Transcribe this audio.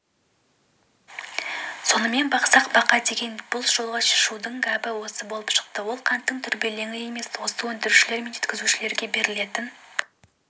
сонымен бақсақ бақа екен дегендей бұл жолғы шудың гәбі басқа болып шықты ол қанттың дүрбелеңі емес оны өндірушілер мен жеткізушілерге берілетін